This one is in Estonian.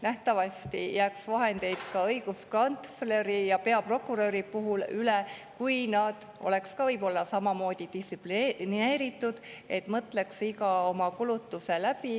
Nähtavasti jääks vahendeid üle ka õiguskantsleril ja peaprokuröril, kui nad oleks samamoodi distsiplineeritud ja mõtleks iga oma kulutuse läbi.